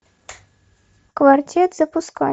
квартет запускай